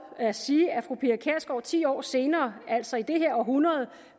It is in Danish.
at sige at fru pia kjærsgaard ti år senere altså i det her århundrede